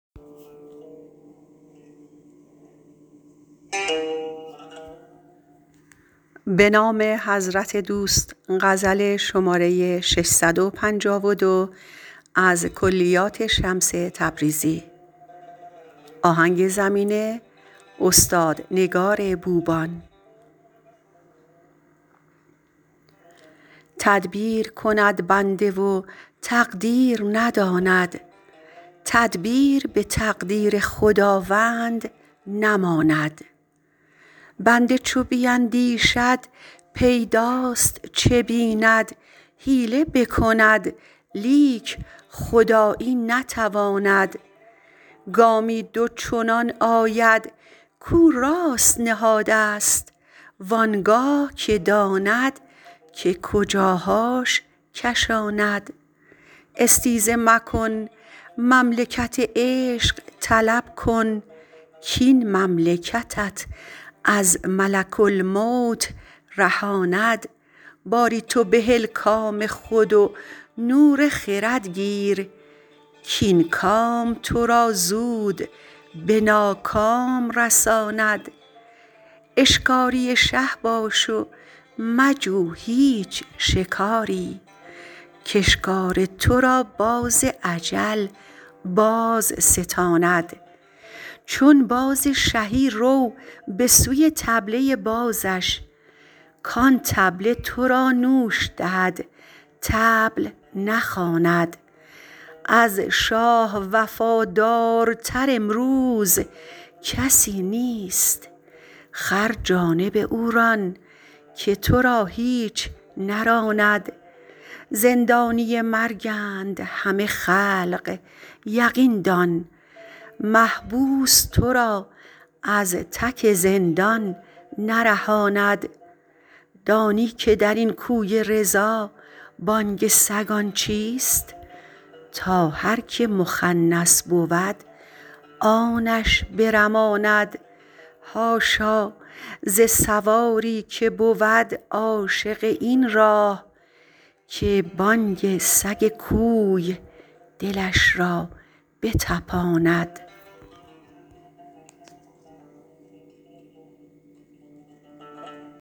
تدبیر کند بنده و تقدیر نداند تدبیر به تقدیر خداوند نماند بنده چو بیندیشد پیداست چه بیند حیله بکند لیک خدایی نتواند گامی دو چنان آید کو راست نهادست وان گاه که داند که کجاهاش کشاند استیزه مکن مملکت عشق طلب کن کاین مملکتت از ملک الموت رهاند باری تو بهل کام خود و نور خرد گیر کاین کام تو را زود به ناکام رساند اشکاری شه باش و مجو هیچ شکاری کاشکار تو را باز اجل بازستاند چون باز شهی رو به سوی طبله بازش کان طبله تو را نوش دهد طبل نخواند از شاه وفادارتر امروز کسی نیست خر جانب او ران که تو را هیچ نراند زندانی مرگند همه خلق یقین دان محبوس تو را از تک زندان نرهاند دانی که در این کوی رضا بانگ سگان چیست تا هر که مخنث بود آن اش برماند حاشا ز سواری که بود عاشق این راه که بانگ سگ کوی دلش را بطپاند